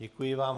Děkuji vám.